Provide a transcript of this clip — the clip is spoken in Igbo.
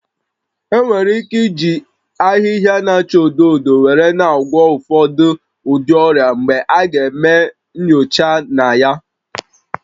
Enwere ike iji ahịhịa na-acha odo odo were na-agwọ ụfọdụ ụdị ọrịa mgbe a ga-eme nyocha na ya